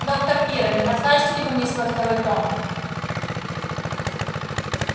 доктор пиренн не покажете ли вы мне свой второй том